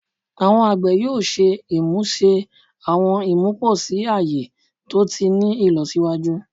Awọn agbẹ yoo ṣe imuse awọn imuposi aye to ti ni ilọsiwaju